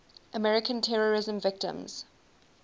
american terrorism victims